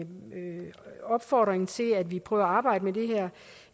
opfordringen til at vi prøver at arbejde med det her